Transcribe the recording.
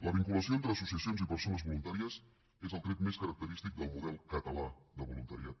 la vinculació entre associacions i persones voluntàries és el tret més característic del model català de voluntariat